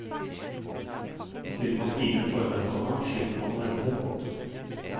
Bestiller man time i forveien, komma slipper man å vente. punktum